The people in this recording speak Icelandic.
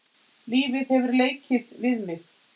Lífið hefur leikið við mig.